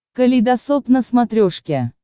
калейдосоп на смотрешке